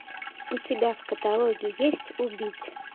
у тебя в каталоге есть убить